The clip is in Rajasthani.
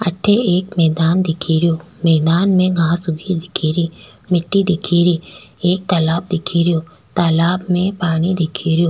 अठ एक मैदान दिखे रो मैदान में घास उगी दिख री मिटटी दिखे री एक तालाब दिखे रो तालाब में पानी दिख रो।